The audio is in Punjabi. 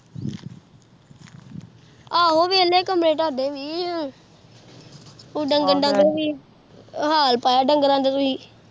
ਆਹੋ ਵਿਹਲੇ ਕਮਰੇ ਤਾਂਡੇ ਵੀ, ਕੁ ਡੰਗਰ ਡੁੰਗਰ ਵੀ, ਹਾਲ ਪਾਇਆ ਡੰਗਰਾਂ ਦਾ ਤੁਹੀਂ।